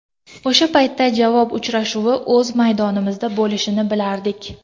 O‘sha paytda javob uchrashuvi o‘z maydonimizda bo‘lishini bilardik.